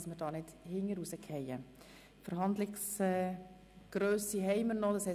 Das Wort hat der Kommissionspräsident, Grossrat Wenger.